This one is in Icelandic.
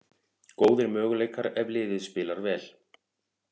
Góðir möguleikar ef liðið spilar vel